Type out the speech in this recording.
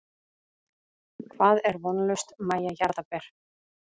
Hvað er vonlaust Mæja jarðaber?